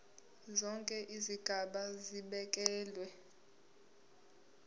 zonke izigaba zibekelwe